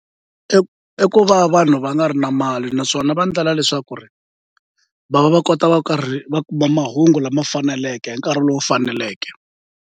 I i ku va vanhu va nga ri na mali naswona va ndlela leswaku ri va va va kota va karhi va kuma mahungu lama faneleke hi nkarhi lowu faneleke.